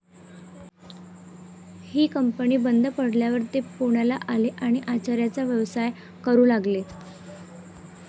ही company बंद पडल्यावर ते पुण्याला आले आणि आचाऱ्याचा व्यवसाय करू लागले.